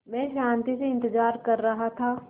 मैं शान्ति से इंतज़ार कर रहा था